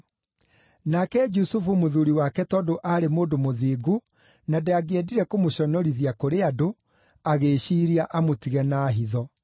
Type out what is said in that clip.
Nake Jusufu mũthuuri wake tondũ aarĩ mũndũ mũthingu na ndangĩendire kũmũconorithia kũrĩ andũ, agĩĩciiria amũtige na hitho.